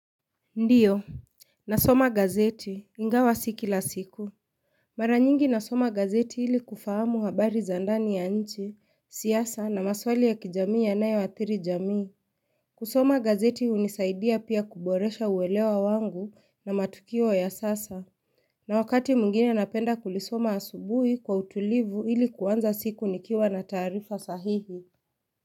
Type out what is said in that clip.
Ndiyo nasoma gazeti ingawa si kila siku mara nyingi nasoma gazeti ili kufahamu habari za ndani ya nchi siasa na maswali ya kijamii yanayoathiri jamii kusoma gazeti unisaidia pia kuboresha uwelewa wangu na matukio ya sasa na wakati mwingine napenda kulisoma asubui kwa utulivu ili kuanza siku nikiwa na taarifa sahihi.